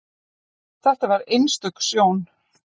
Þetta var einstök sjón.